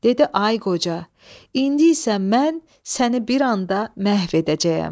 Dedi ay qoca, indi isə mən səni bir anda məhv edəcəyəm.